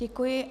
Děkuji.